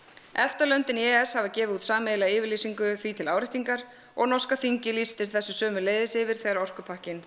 EFTA löndin í e e s hafa gefið út sameiginlega yfirlýsingu því til áréttingar og norska þingið lýsti þessu sömuleiðis yfir þegar orkupakkinn